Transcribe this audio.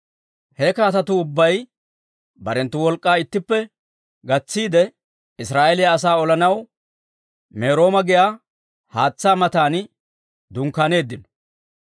He kaatetuu ubbay barenttu wolk'k'aa ittippe gatsiide, Israa'eeliyaa asaa olanaw Merooma giyaa haatsaa matan dunkkaaneeddino.